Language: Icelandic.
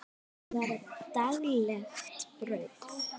Hér var það daglegt brauð.